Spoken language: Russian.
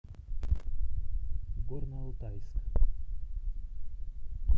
горно алтайск